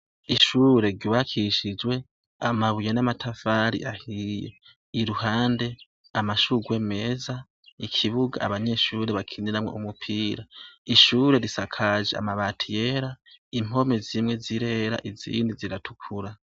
Ishure ry'ubakishijwe amabuye namatafari ahiye , iruhande amashurwe meza, ikibuga abanyeshure bakinirako, ishure risakaje amabati yera, impome zimwe zirera izindi ziratukura.